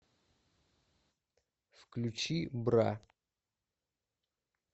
включи бра